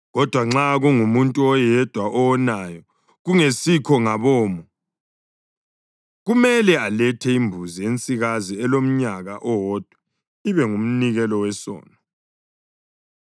Kodwa nxa kungumuntu oyedwa owonayo kungesikho ngabomo, kumele alethe imbuzi ensikazi elomnyaka owodwa ibe ngumnikelo wesono.